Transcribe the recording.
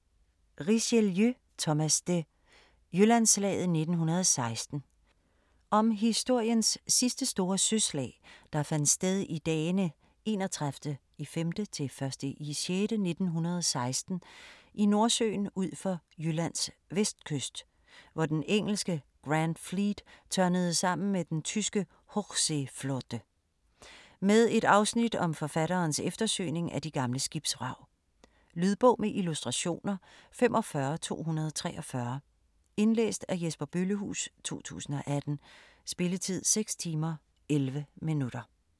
Richelieu, Thomas de: Jyllandsslaget 1916 Om historiens sidste store søslag der fandt sted i dagene 31.5.-1.6.1916 i Nordsøen ud for Jyllands vestkyst, hvor den engelske Grand Fleet tørnede sammen med den tyske Hochseeflotte. Med et afsnit om forfatterens eftersøgning af de gamle skibsvrag. Lydbog med illustrationer 45243 Indlæst af Jesper Bøllehuus, 2018. Spilletid: 6 timer, 11 minutter.